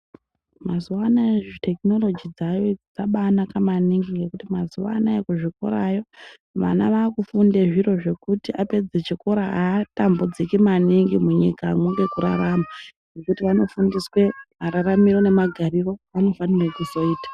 Mazuwa anaya thekinoloji dzaayo dzabaanaka maningi ngekuti mazuwa anaya kuzvikorayo, vana vaakufunde zviro zvekuti apedze chikora aatambudziki maningi munyikamwo ngekurarama ,ngekuti vanofundiswe mararamire nemagariro, avanofanire kuzoita.